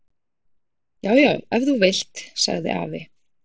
Já, já ef þú vilt. sagði afi.